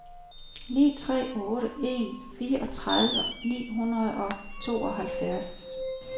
ni tre otte en fireogtredive ni hundrede og tooghalvfjerds